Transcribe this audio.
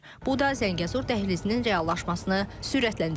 Bu da Zəngəzur dəhlizinin reallaşmasını sürətləndirə bilər.